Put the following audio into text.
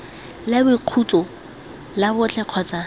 la boikhutso la botlhe kgotsa